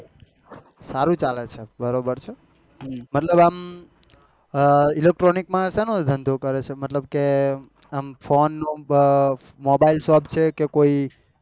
સારું ચાલે છે બરાબર છે મતલબ આમ electronic માં શેનો ધંધો કરે છે? મતલબ કે આમ ફોન નો mobile shape છે કે કોઈ